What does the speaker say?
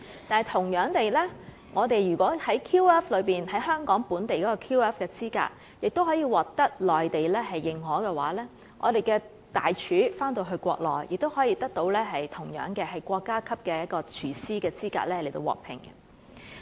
但同樣地，香港的 QF 資格也可以獲得內地認可，我們的大廚回到國內，亦同樣可以國家級廚師資格獲聘。